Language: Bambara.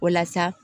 Walasa